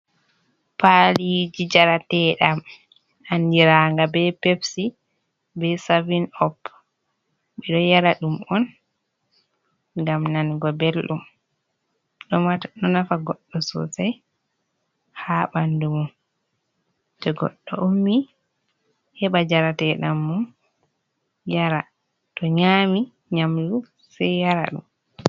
Paliji jarate ɗam, andiraga ɓe pepsi ɓe savin op, ɓeɗo yara ɗum on, ngam nango ɓelɗum ɗo nafa goddo sosai ha bandu mum, to goddo ummi heba jarate ɗam mum yara, to nyami nyamdu se yara ɗum.